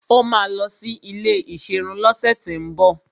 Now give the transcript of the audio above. Ó máa lọ sí ilé ìserun lọ́sẹ̀tíbọ̀